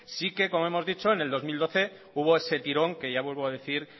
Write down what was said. sí que como hemos dicho en el dos mil doce hubo ese tirón que ya vuelvo a decir